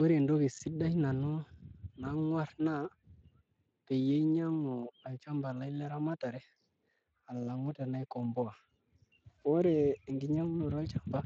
Ore entoki sidai nanu nanyorr naa peyie ainyiang'u olchamba laai leramatare alang'u tenaikomboa, ore enkinyiang'unoto olchamba